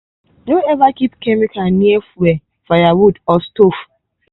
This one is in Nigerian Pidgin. no ever keep chemical near fuel firewood or stove.